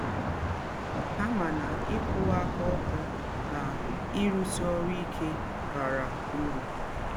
Ha ma na ịkwụwa aka ọtọ na ịrụsi ọrụ ike bara ụrụ....